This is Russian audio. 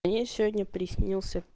ей сегодня приснился